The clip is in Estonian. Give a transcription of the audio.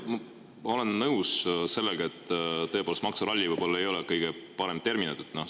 Jah, ma olen nõus sellega, et maksuralli ei ole võib-olla tõesti kõige parem termin.